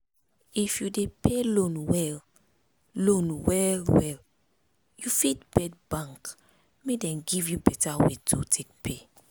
if you dey pay loan well loan well well you fit beg bank make dem give you beta way to take pay.